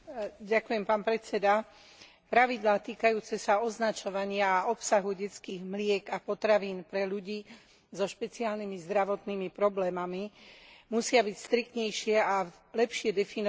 Pravidlá týkajúce sa označovania obsahu detských mliek a potravín pre ľudí so špeciálnymi zdravotnými problémami musia byť striktnejšie a lepšie definované, aby chránili spotrebiteľov.